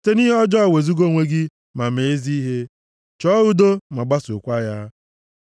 Site nʼihe ọjọọ wezuga onwe gị ma mee ezi ihe, chọọ udo ma gbasookwa ya.